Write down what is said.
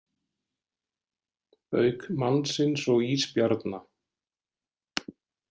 Auk mannsins og ísbjarna.